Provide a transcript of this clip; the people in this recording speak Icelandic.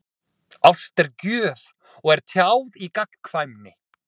Ást er gjöf og er tjáð í gagnkvæmni.